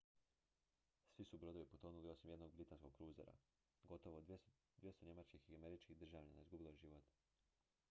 svi su brodovi potonuli osim jednog britanskog kruzera gotovo 200 njemačkih i američkih državljana izgubilo je život